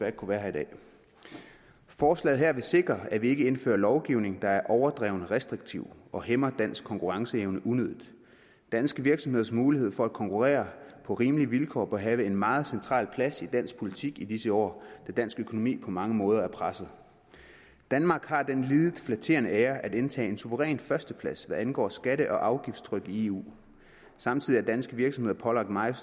ikke kunne være her i dag forslaget her vil sikre at vi ikke indfører lovgivning der er overdreven restriktiv og hæmmer dansk konkurrenceevne unødigt danske virksomheders mulighed for at konkurrere på rimelige vilkår bør have en meget central plads i dansk politik i disse år da dansk økonomi på mange måder er presset danmark har den lidet flatterende ære at indtage en suveræn førsteplads hvad angår skatte og afgiftstryk i eu samtidig er danske virksomheder pålagt meget